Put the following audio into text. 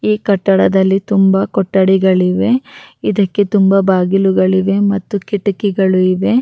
ಈ ಕಟ್ಟಡದಲ್ಲಿ ತುಂಬಾ ಕೊಠಡಿಗಳಿವೆ ಇದಕ್ಕೆ ತುಂಬಾ ಬಾಗಿಲುಗಳಿವೆ ಮತ್ತು ಕಿಟಕಿಗಳು ಇವೆ-